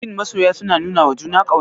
Shin masoya suna nunawa juna ƙauna?